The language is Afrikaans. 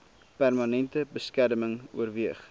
permanente beskerming oorweeg